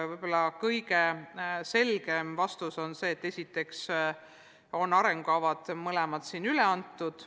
Võib-olla kõige selgem vastus on see, et esiteks on arengukavad mõlemad üle antud.